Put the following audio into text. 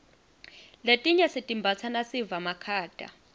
letinye sitimbatsa nasiva makhata